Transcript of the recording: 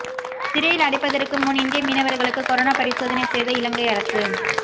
சிறையில் அடைப்பதற்கு முன் இந்திய மீனவர்களுக்கு கொரோனா பரிசோதனை செய்த இலங்கை அரசு